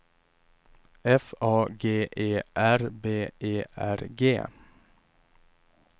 F A G E R B E R G